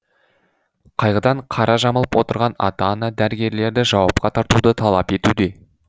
қайғыдан қара жамылып отырған ата ана дәрігерлерді жауапқа тартуды талап етуде